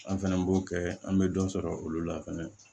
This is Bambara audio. An fɛnɛ b'o kɛ an bɛ dɔ sɔrɔ olu la fɛnɛ